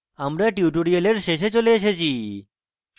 আমরা tutorial শেষে চলে এসেছি